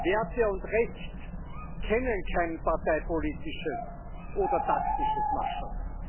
Werte und Recht kennen kein parteipolitisches oder taktisches Mascherl.